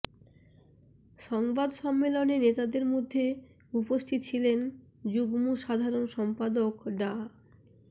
সংবাদ সম্মেলনে নেতাদের মধ্যে উপস্থিত ছিলেন যুগ্ম সাধারণ সম্পাদক ডা